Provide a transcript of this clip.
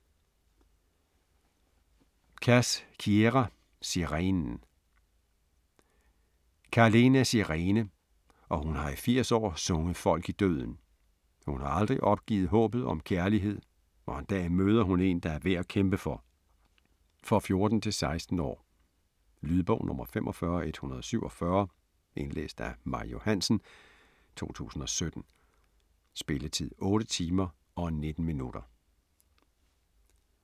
Cass, Kiera: Sirenen Kahlen er sirene, og hun har i 80 år sunget folk i døden. Hun har aldrig opgivet håbet om kærlighed, og en dag møder hun en, der er værd at kæmpe for. For 14-16 år. Lydbog 45147 Indlæst af Maj Johansen, 2017. Spilletid: 8 timer, 19 minutter.